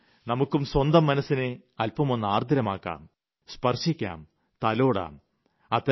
വരൂ നമുക്കും സ്വന്തം മനസ്സിനെ അല്പമൊന്നാർദ്രമാക്കാം സ്പർശിക്കാം തലോടാം